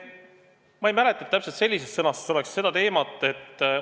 Ma ei mäleta, et täpselt sellises sõnastuses oleks seda teemat arutatud.